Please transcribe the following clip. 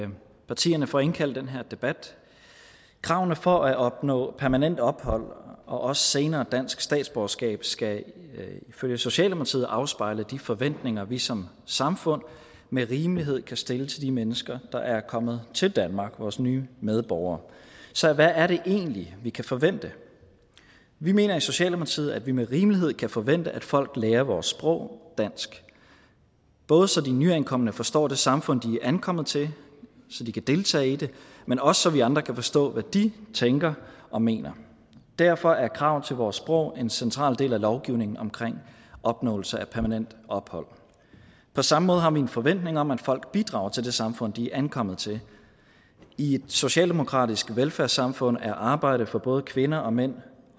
til partierne for at indkalde til den her debat kravene for at opnå permanent ophold og også senere dansk statsborgerskab skal ifølge socialdemokratiet afspejle de forventninger vi som samfund med rimelighed kan stille til de mennesker der er kommet til danmark vores nye medborgere så hvad er det egentlig vi kan forvente vi mener i socialdemokratiet at vi med rimelighed kan forvente at folk lærer vores sprog dansk både så de nyankomne forstår det samfund de ankommet til så de kan deltage i det men også så vi andre kan forstå hvad de tænker og mener derfor er krav til vores sprog en central del af lovgivningen omkring opnåelse af permanent ophold på samme måde har vi en forventning om at folk bidrager til det samfund de er ankommet til i et socialdemokratisk velfærdssamfund er arbejde for både kvinder og mænd